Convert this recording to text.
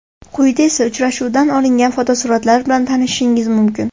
Quyida esa uchrashuvdan olingan fotosuratlar bilan tanishishingiz mumkin.